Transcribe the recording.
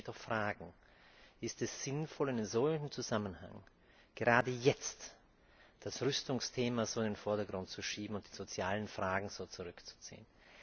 Da muss man sich doch fragen Ist es sinnvoll, in einem solchen Zusammenhang, gerade jetzt das Rüstungsthema so in den Vordergrund zu schieben und die sozialen Fragen so zurückzuziehen?